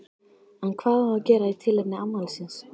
En hvað á að gera í tilefni afmælisins?